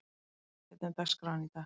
Kiddi, hvernig er dagskráin í dag?